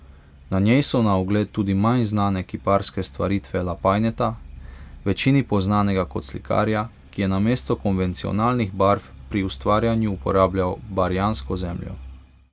Na njej so na ogled tudi manj znane kiparske stvaritve Lapajneta, večini poznanega kot slikarja, ki je namesto konvencionalnih barv pri ustvarjanju uporabljal barjansko zemljo.